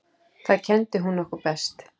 Það kenndi hún okkur best.